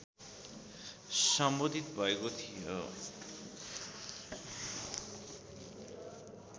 सम्बोधित भएको थियो